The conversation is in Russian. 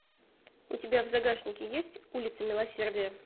у тебя в загашнике есть улица милосердия